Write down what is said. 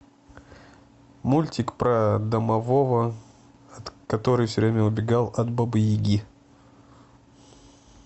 мультик про домового который все время убегал от бабы яги